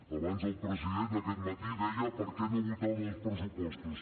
abans el president aquest matí deia per què no votàvem els pressupostos